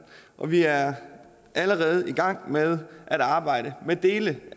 og vi er allerede i gang med at arbejde med dele